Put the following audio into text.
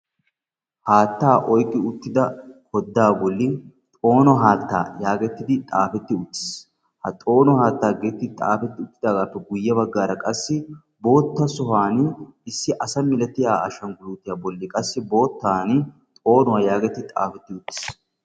Haattaa oyqqi uttidaa odda bolli 'xoono haattaa' yaagetiddi xaafeti uttiis; ha xoono haatta getettidi xaafeti uttidaageppe guyye baggaraqassi bootta sohuwaan issi asa milaatiya ashshanggulitiya bolli qassi boottan xoonuwa yaagetiddi xaafeti uttiis.